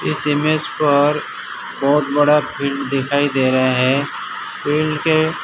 इस इमेज पर बहुत बड़ा फील्ड दिखाई दे रहा है फील्ड के--